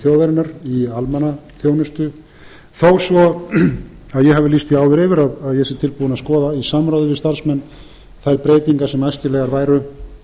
þjóðarinnar í almannaþjónustu þó svo að ég hafi lýst því áður yfir að ég sé tilbúinn að skoða í samráði við starfsmenn þær breytingar sem æskilegar væru